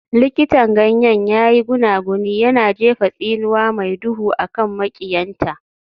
Likitan ganyen ya yi gunaguni, yana jefa tsinuwa mai duhu a kan maƙiyanta.